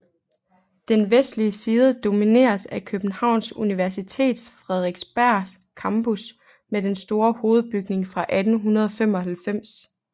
Den vestlige side domineres af Københavns Universitets Frederiksberg Campus med den store hovedbygning fra 1895